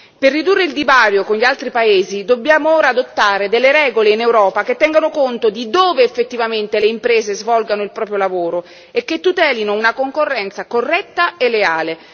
Per ridurre il divario con gli altri paesi dobbiamo ora adottare delle regole in Europa che tengano conto di dove effettivamente le imprese svolgono il proprio lavoro e che tutelino una concorrenza corretta e leale.